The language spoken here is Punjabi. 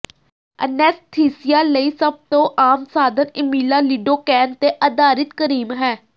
ਅਨੈਸਥੀਸੀਆ ਲਈ ਸਭ ਤੋਂ ਆਮ ਸਾਧਨ ਇਮੀਲਾ ਲਿਡੋਕੈਨ ਤੇ ਆਧਾਰਿਤ ਕਰੀਮ ਹੈ